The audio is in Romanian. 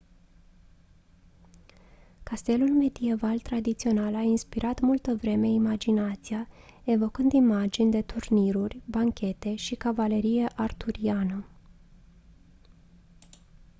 castelul medieval tradițional a inspirat multă vreme imaginația evocând imagini de turniruri banchete și cavalerie arturiană